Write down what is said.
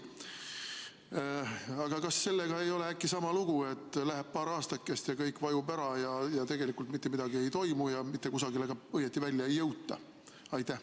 Aga kas sellega ei või olla äkki sama lugu, et läheb paar aastakest ja kõik vajub ära ja tegelikult mitte midagi ei toimu ja õieti mitte kusagile välja ei jõuta?